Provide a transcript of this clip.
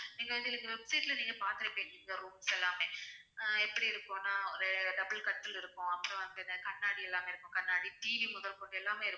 நீங்க வந்து எங்க website ல நீங்க பார்த்துருப்பீங்க இந்த rooms எல்லாமே அஹ் எப்படி இருக்கும்னா ஒரு double கட்டில் இருக்கும் அப்புறம் வந்து என்ன கண்ணாடி எல்லாமே இருக்கும் கண்ணாடி TV முதற்கொண்டு எல்லாமே இருக்கும்